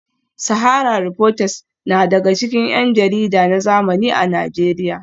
Sahara reporters na daga cikin yan jarida na zamani a Najeriya